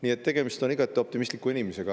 Nii et tegemist on igati optimistliku inimesega.